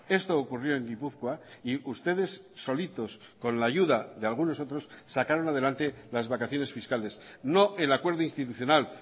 esto ocurrió en gipuzkoa y ustedes solitos con la ayuda de algunos otros sacaron adelante las vacaciones fiscales no el acuerdo institucional